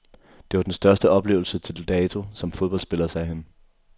Det var den største oplevelse til dato som fodboldspiller, sagde han.